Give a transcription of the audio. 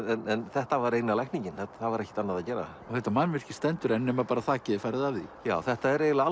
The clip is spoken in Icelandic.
þetta var eina lækningin það var ekkert annað að gera þetta mannvirki stendur enn nema þakið er farið af þetta er eiginlega